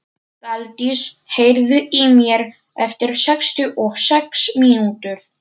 Daldís, heyrðu í mér eftir sextíu og sex mínútur.